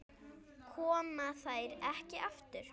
Koma þær ekki aftur?